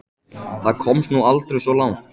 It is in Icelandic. Það komst nú aldrei svo langt.